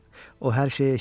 O hər şeyi eşidə bilər.